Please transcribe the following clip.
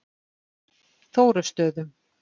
Þórustöðum